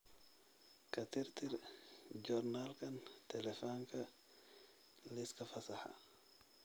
ka tirtir joornaalka taleefanka liiska fasaxa